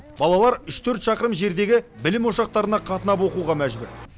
балалар үш төрт шақырым жердегі білім ошақтарына қатынап оқуға мәжбүр